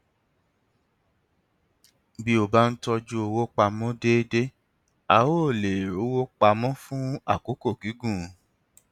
bí o bá ń tọjú owó pa mọ déédéé o á lè rówó pa mọ fún àkókò gígùn